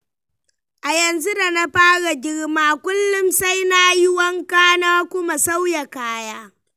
A yanzu da na fara girma, kullum sai nayi wanka na kuma sauya kaya.